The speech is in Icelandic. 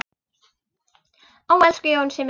Ó, elsku Jónsi minn.